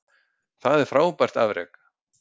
Það er frábært afrek.